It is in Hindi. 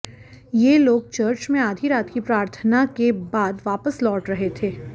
ये लोग चर्च में आधी रात की प्रार्थना के बद वापस लौट रहे थे